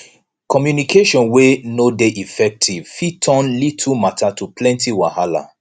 communication wey no de effective fit turn little matter to plenty wahala